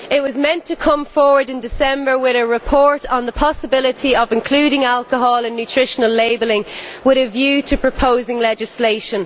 It was meant to come forward in December with a report on the possibility of including alcohol in nutritional labelling with a view to proposing legislation.